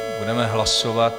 Budeme hlasovat.